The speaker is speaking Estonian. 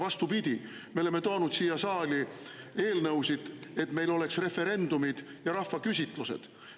Vastupidi, me oleme toonud siia saali eelnõusid, et meil oleks referendumid ja rahvaküsitlused.